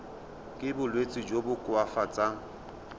ka bolwetsi jo bo koafatsang